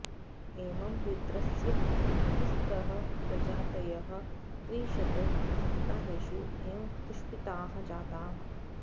एवं वेत्रस्य तिस्रः प्रजातयः त्रिंशत् सप्ताहेषु एव पुष्पिताः जाताः